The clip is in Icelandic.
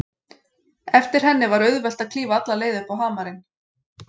Eftir henni var auðvelt að klífa alla leið upp á hamarinn.